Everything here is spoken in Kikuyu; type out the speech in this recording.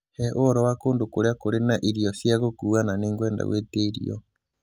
He ũhoro wa kũndũ kũrĩa kũrĩ na irio cia gũkuua na nĩ ngwenda guĩtia irio